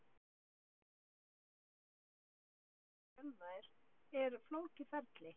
Það sem gerist þegar vöðvi er þjálfaður er flókið ferli.